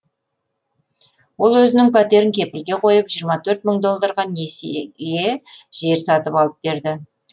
ол өзінің пәтерін кепілге қойып жиырма төрт мың долларға несиеге жер сатып алып береді